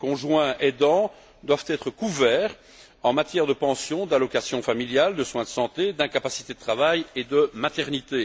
Les conjoints aidants doivent être couverts en matière de pension, d'allocations familiales, de soins de santé, d'incapacité de travail et de maternité.